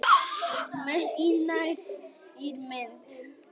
Maur í nærmynd.